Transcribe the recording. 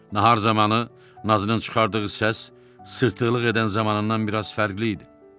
Nahar zamanı nazının çıxardığı səs sırtığlıq edən zamanından biraz fərqli idi.